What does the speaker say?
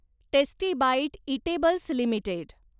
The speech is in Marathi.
tasty bite eatables limited